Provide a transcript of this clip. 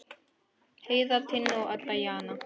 Heiða, Tinna, Edda og Jana.